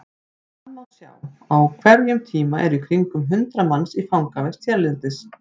Þar má sjá að á hverjum tíma eru í kringum hundrað manns í fangavist hérlendis.